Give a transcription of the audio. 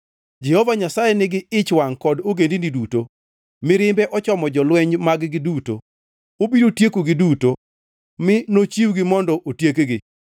Jehova Nyasaye nigi ich wangʼ kod ogendini duto; mirimbe ochomo jolweny mag-gi duto. Obiro tiekogi duto, mi nochiwgi mondo otiekgi.